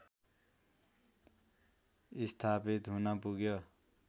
स्थापित हुन पुग्यो